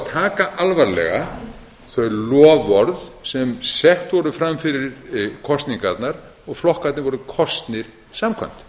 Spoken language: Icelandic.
taka alvarlega þau loforð sem sett voru fram fyrir kosningarnar og flokkarnir voru kosnir samkvæmt